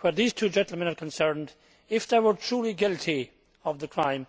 Where these two gentlemen are concerned, if they were truly guilty of the crime